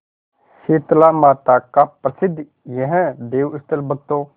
शीतलामाता का प्रसिद्ध यह देवस्थल भक्तों